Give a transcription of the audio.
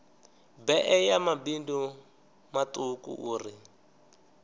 bee ya mabindu matuku uri